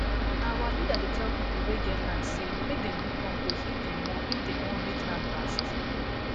na our leader dey tell people wey get land say make dem dey do compost if dem want if dem want make land last